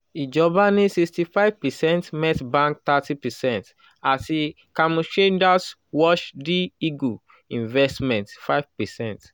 ijọba ni sixty five percent metbank thirty percent ati kamushinda's world eagle investments five percent